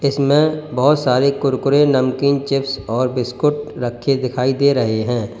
इसमें बहोत सारे कुरकुरे नमकीन चिप्स और बिस्कुट रखे दिखाई दे रहे हैं।